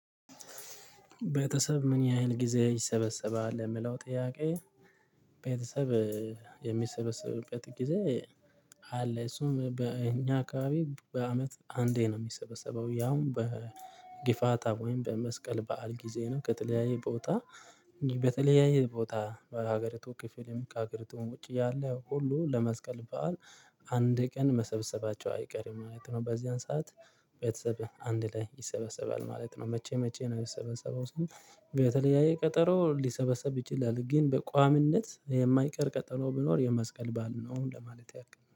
ቤተሰብ ምን ያህል ጊዜ ይሰበሰባል የምለው ጥያቄ? ቤተሰብ የሚሰበስበት ጊዜ አለ። እሱም በእኛ አካባቢ በአመት አንዴ ነው የሚሰበሰበው ያውም በግፋታ ወይም በመስቀል በዓል ጊዜ ነው። ከተለያየ ቦታ በተለያየ ቦታ በሀገሪቱ ክፍልም ከአገሪቱም ውጪ ያለ ሁሉ ለመስቀል በዓል አንድ ቀን መሰብሰባቸው አይቀርም ማለት ነው። በዚያን ሰዓት ቤተሰብህ አንድ ላይ ይሰበሰባል ማለት ነው። መቼ መቼ ነው? የምሰበሰበው ስንል በተለያዬ ቀጠሮ ሊሰበሰብ ይችላል። ግን በቋምነት የማይቀር ቀጠሮ ቢኖር የመስቀል ባዓል ነው ለማለት ያክል ነው